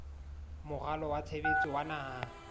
moralo wa tshebetso wa naha